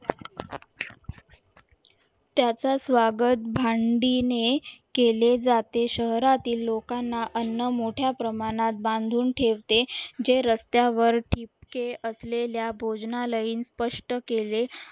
त्याचा स्वागत भांडी ने केले जाते शहरातील लोकांना अन्न मोठ्या प्रमाणात बांधून ठेवते जे रस्त्यावर ठिपके असलेल्या भोजनालयीन स्पष्ट केले